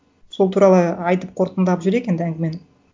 сол туралы айтып қорытындылап жіберейік енді әңгімені